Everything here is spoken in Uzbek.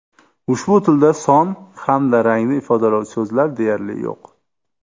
Ushbu tilda son hamda rangni ifodalovchi so‘zlar deyarli yo‘q.